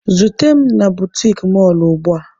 Zute m na butiki mọlụ ugbua!